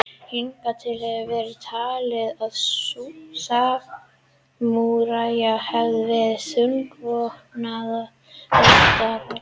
Hingað til hefur verið talið að samúræjar hefðu verið þungvopnað riddaralið.